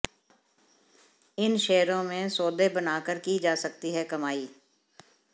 इन शेयरों में सौदे बनाकर की जा सकती है कमाई